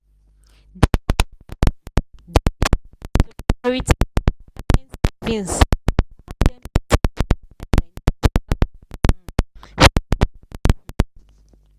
di couple um decision to prioritize retirement savings allow dem to secure their financial um freedom. um